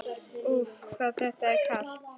Úff, hvað það er kalt!